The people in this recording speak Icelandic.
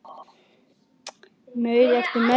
Af Ágætis byrjun